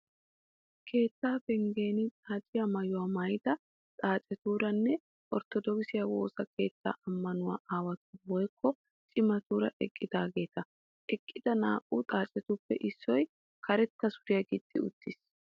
Keettaa penggen xaaciyaa maayuwaa maayida xaacetuuranne Orttodookise woosa keetta ammanuwaa aawatuura woyikko cimatuura eqqudaageeta. Eqqida naa'u xaacetuppe issoy karetta suriyaa gixxi uttis.